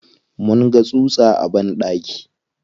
Mun ga tsutsa a banɗaki.